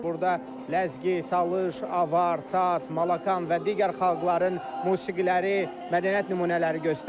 Burda Ləzgi, Talış, Avar, Tat, Malakan və digər xalqların musiqiləri, mədəniyyət nümunələri göstərilir.